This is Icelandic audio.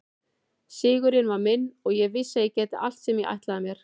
Sigurinn var minn og ég vissi að ég gæti allt sem ég ætlaði mér.